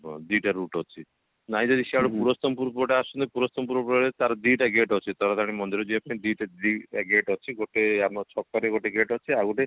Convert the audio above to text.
ଉଁ ଦିଟା route ଅଛି ନାହିଁ ଯଦି ସିଆଡେ ପୁରସ୍ତମପୁର ପଟେ ଆସୁଛନ୍ତି ପୁରସ୍ତମପୁର ବାଟେ ତାର ଦିଟା gate ଅଛି ତାରାତାରିଣୀ ମନ୍ଦିରଯିବା ପାଇଁ ଦିଟା ଦି ଦିଟା gate ଅଛି ଗୋଟେ ଆମ ଛକ ରେ ଗୋଟେ gate ଅଛି ଆଉ ଗୋଟେ